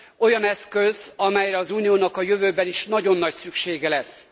Olyan eszköz, amelyre az Uniónak a jövőben is nagyon nagy szüksége lesz.